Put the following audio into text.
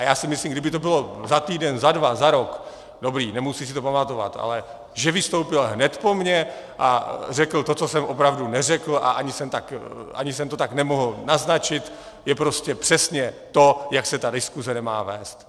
A já si myslím, kdyby to bylo za týden, za dva, za rok - dobrý, nemusí si to pamatovat, ale že vystoupil hned po mně a řekl to, co jsem opravdu neřekl, a ani jsem to tak nemohl naznačit, je prostě přesně to, jak se ta diskuse nemá vést.